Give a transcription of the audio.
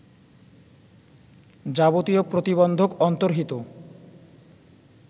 যাবতীয় প্রতিবন্ধক অন্তর্হিত